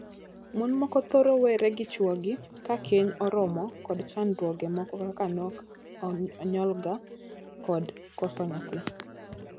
Mon moko thoro were gi chwogi ka keny oromo kod chandruoge moko kaka nok onyongla kod koso nyathi.